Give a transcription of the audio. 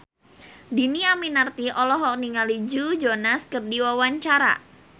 Dhini Aminarti olohok ningali Joe Jonas keur diwawancara